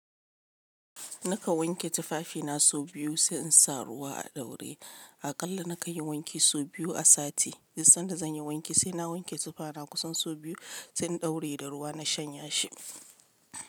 Nakan wanke tufafina sau biyu sai in sa ruwa a ɗaure. Aƙalla na ka yin wanki sau biyu a sati. Duk sanda, zanyi wanki sai na wanke zufana kusan sau biyu sai in daure da ruwa na shanya shi.